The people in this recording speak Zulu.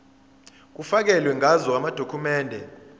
kufakelwe ngazo amadokhumende